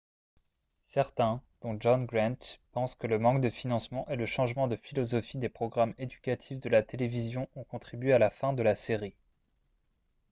certains dont john grant pensent que le manque de financement et le changement de philosophie des programmes éducatifs de la télévision ont contribué à la fin de la série